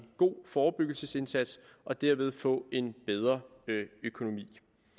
god forebyggelsesindsats og derved få en bedre økonomi